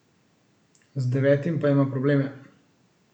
Z devetim pa ima probleme.